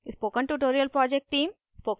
spoken tutorial project team: